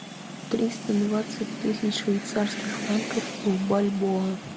триста двадцать тысяч швейцарских франков в бальбоа